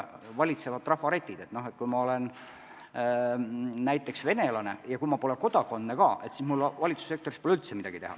Valitseb ju trafaretne arusaam, et kui ma olen näiteks venelane ja kui ma pole Eesti kodanik ka, siis mul pole valitsussektoris üldse midagi teha.